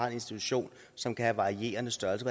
institution som kan have varierende størrelse